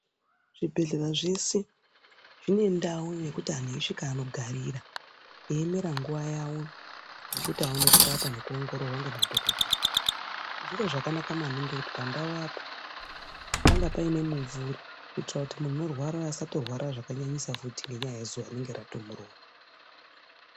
Zvibhedhlera zvese zvinendau yekuti antu eisvika anogarira eiemera nguva yavo yekuti aone kurapwa eiongororwa ngemadhodheeya. Zviro zvakanaka maningi kuti pandau apo pangapaine mumvuri kuitira kuti muntu anorwara asatorwara zvakanyanyisa futi ngenyaya yezuva rinenge ratomurova.